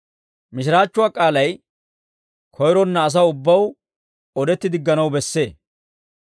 Mishiraachchuwaa k'aalay koyronna asaw ubbaw odetti digganaw bessee.